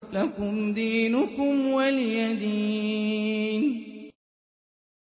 لَكُمْ دِينُكُمْ وَلِيَ دِينِ